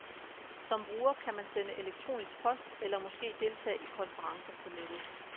Som bruger kan man sende elektronisk post, eller måske deltage i konferencer på nettet.